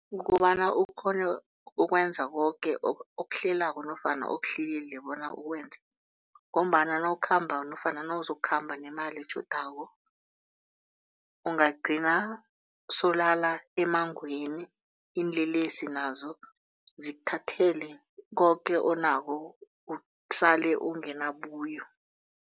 Kukobana ukghone ukwenza koke okuhlelako nofana okuhlelile bona ukwenza ngombana nawukhamba nofana uzokukhamba nemali etjhodako ungagcina sewulala emmangweni iinlelesi nazo zikuthathele koke onakho usele unganabuyo.